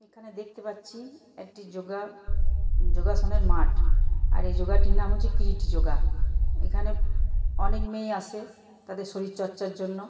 এখানে দেখতে পাচ্ছি একটি যোগা যোগাসনের মাঠ। আর এই যোগটির নাম হচ্ছে কিরীটি যোগা। এখানে অনেক মেয়েই আসে তাদের শরীর চর্চার জন্য।